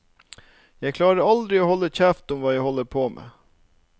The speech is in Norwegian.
Jeg klarer aldri å holde kjeft om hva jeg holder på med.